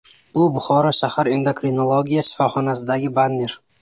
Bu Buxoro shahar Endokrinologiya shifoxonasidagi banner.